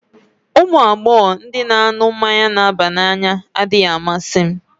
Ụmụ agbọghọ ndị na-aṅụ mmanya na-aba n'anya adịghị amasị m